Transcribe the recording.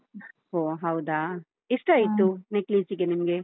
ಒ ಹೌದಾ, ಎಷ್ಟಾಯ್ತು necklace ಗೆ ನಿಮ್ಗೆ?